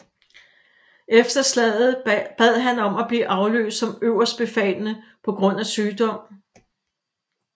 Efter slaget bad han om at blive afløst som øverstbefalende på grund af sygdom